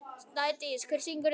Snædís, hver syngur þetta lag?